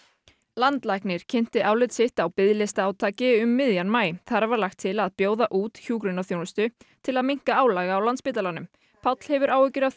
landlæknir kynnti álit sitt á biðlistaátaki um miðjan maí þar var lagt til að bjóða út hjúkrunarþjónustu til að minnka álag á Landspítalanum Páll hefur áhyggjur af